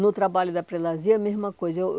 No trabalho da Prelasia, a mesma coisa. Eu